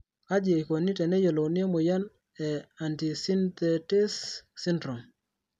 kaji eikoni teneyiolouni emoyian e antisynthetase syndrome?